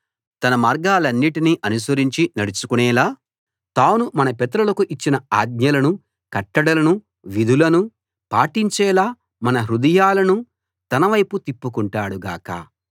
తన మార్గాలన్నిటినీ అనుసరించి నడుచుకొనేలా తాను మన పితరులకు ఇచ్చిన ఆజ్ఞలను కట్టడలను విధులను పాటించేలా మన హృదయాలను తన వైపు తిప్పుకుంటాడు గాక